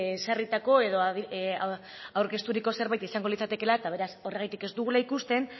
ezarritako edo aurkezturiko zerbait izango litzatekela eta beraz horregatik ez dugula ikusten